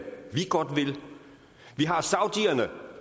vi godt vil vi har saudierne